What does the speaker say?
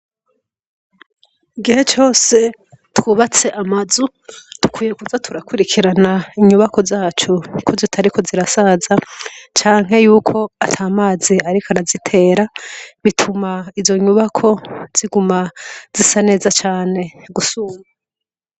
Igihe cose twubats' amazu, dukwiye kuza turakurikiran' inyubako zacu ko zitariko zirasaza canke yuk 'atamazi arik' arazitera, bitum' izo nyubako ziguma zisa neza cane gusumba.